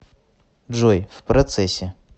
джой в процессе